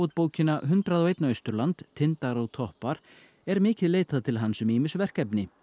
bókina hundrað og einum Austurland tindar og toppar er mikið leitað til hans um ýmis verkefni